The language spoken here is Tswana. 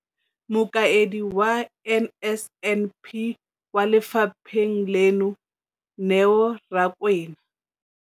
Mokaedi wa NSNP kwa lefapheng leno, Neo Rakwena,